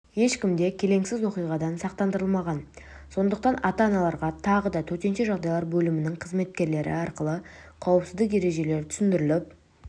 ешкімде келеңсіз оқиғадан сақтандырылмаған сондықтан ата-аналарға тағыда төтенше жағдайлар бөлімінің қызметкерлері арқылы қауіпсіздік ережелері түсіндіріліп